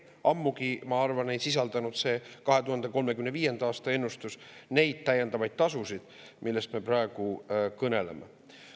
Ammugi, ma arvan, ei sisaldanud see 2035. aasta ennustus neid täiendavaid tasusid, millest me praegu kõneleme.